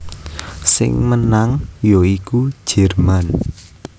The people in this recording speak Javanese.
Sing menang ya iku Jerman